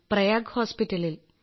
പ്രയാഗ് ഹോസ്പിറ്റലിൽ